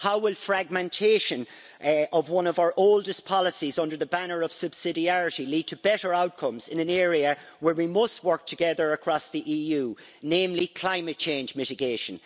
How will fragmentation of one of our oldest policies under the banner of subsidiarity lead to better outcomes in an area where we must work together across the EU, namely climate change mitigation?